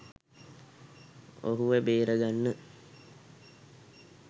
ඔහුව බේරගන්න